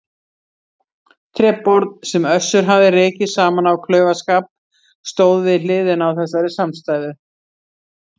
Tréborð, sem Össur hafði rekið saman af klaufaskap stóð við hliðina á þessari samstæðu.